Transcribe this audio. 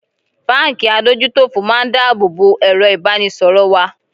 Báńkì adójútòfò máa ń dá àbọ̀ bo èrọ ìbánisọ̀rọ̀ wa.